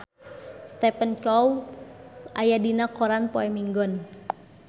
Stephen Chow aya dina koran poe Minggon